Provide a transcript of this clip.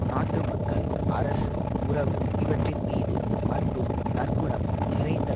நாட்டு மக்கள் அரசு உறவு இவற்றின் மீது அன்பும் நற்குணம் நிறைந்த